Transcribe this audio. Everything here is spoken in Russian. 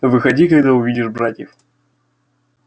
выходи когда увидишь братьев